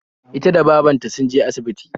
Ita da babarta sunje asibiti